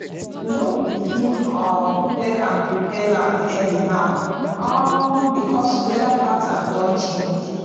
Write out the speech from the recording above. we don dey begin um clear and prepare land early now um because weather pattern don change